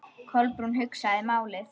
Kolbrún hugsaði málið.